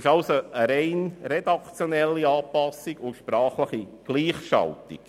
Es handelt sich also um eine rein redaktionelle Anpassung und sprachliche Gleichschaltung.